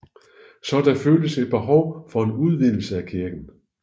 Så der føltes et behov for en udvidelse af kirken